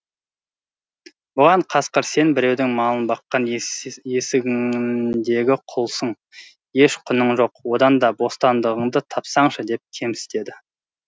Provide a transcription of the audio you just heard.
бұған қасқыр сен біреудің малын баққан есігіндегі құлсың еш құның жоқ одан да бостандығыңды тапсаңшы деп кемсітеді